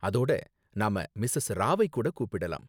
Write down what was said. அதோட, நாம மிஸஸ் ராவ்வை கூட கூப்பிடலாம்.